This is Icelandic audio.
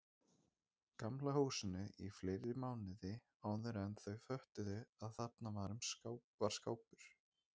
Gamla húsinu í fleiri mánuði áðuren þau föttuðu að þarna var skápur.